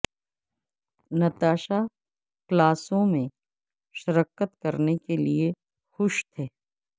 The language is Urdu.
نتاشا کلاسوں میں شرکت کرنے کے لئے خوش تھے